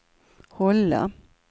hålla